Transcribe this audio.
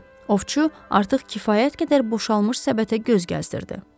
Ovçu artıq kifayət qədər boşalmış səbətə göz gəzdirdi.